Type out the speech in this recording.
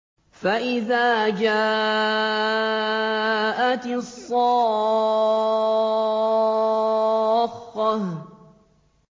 فَإِذَا جَاءَتِ الصَّاخَّةُ